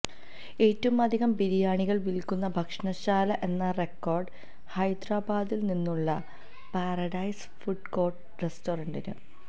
ഏറ്റവും അധികം ബിരിയാണികള് വില്ക്കുന്ന ഭക്ഷണശാല എന്ന റെക്കോഡ് ഹൈദരാബാദില് നിന്നുള്ള പാരഡൈസ് ഫുഡ് കോര്ട്ട് റെസ്റ്റോറന്റിന്